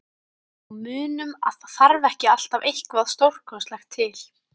Og munum að það þarf ekki alltaf eitthvað stórkostlegt til.